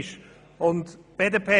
Das ist ein Novum.